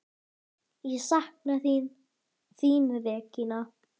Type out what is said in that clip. Ég sakna þín, þín Regína.